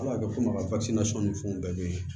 Ala ka kɛ komi a ka ni fɛnw bɛɛ bɛ yen